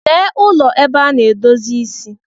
Lee ụlọ ebe ana-edozi isi.